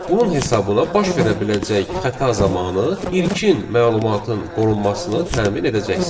Bunun hesabına baş verə biləcək xəta zamanı ilkin məlumatın qorunmasını təmin edəcəksiniz.